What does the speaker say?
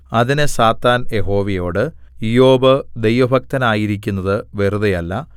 അതിന് സാത്താൻ യഹോവയോട് ഇയ്യോബ് ദൈവഭക്തനായിരിക്കുന്നത് വെറുതെയല്ല